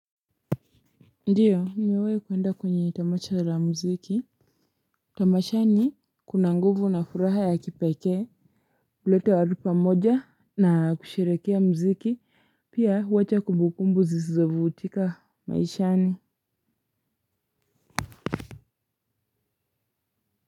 Ndiyo nimewai kuenda kwenye tamasha la mziki. Tamashani kuna nguvu na furaha ya kipekee. Ulete wa rupa moja na kusherekea mziki pia uwacha kumbukumbu zizovu utika maishani.